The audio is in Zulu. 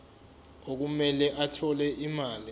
okumele athole imali